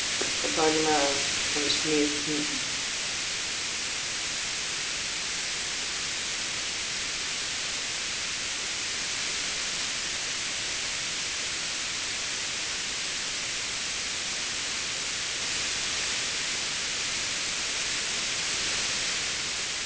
Torfheiður, hvað er að frétta?